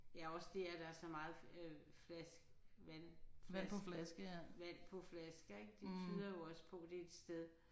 Ja også det at der er så meget flaske vandflaske vand på flasker ik det tyder jo også på det er et sted